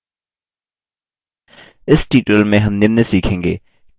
इस tutorial में हम निम्न सीखेंगे: